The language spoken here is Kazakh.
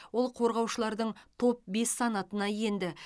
ол қорғаушылардың топ бес санатына енді